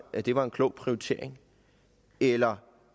at det var en klog prioritering eller